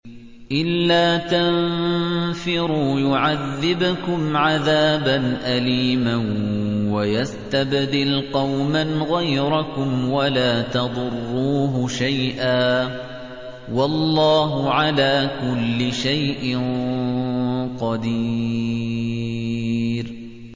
إِلَّا تَنفِرُوا يُعَذِّبْكُمْ عَذَابًا أَلِيمًا وَيَسْتَبْدِلْ قَوْمًا غَيْرَكُمْ وَلَا تَضُرُّوهُ شَيْئًا ۗ وَاللَّهُ عَلَىٰ كُلِّ شَيْءٍ قَدِيرٌ